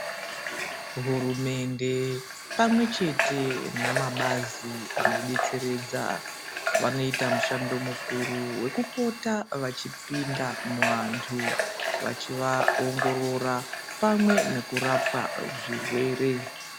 Hurumende pamwe chete namabazi ano detseredza, vanoita mushondo mukuru wekupota vechi pinda muantu, vachiva ongorora pamwe nekurapa zvirwere.